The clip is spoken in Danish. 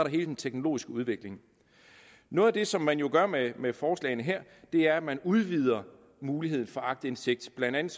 hele den teknologiske udvikling noget af det som man jo gør med med forslagene her er at man udvider muligheden for aktindsigt blandt andet